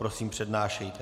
Prosím, přednášejte.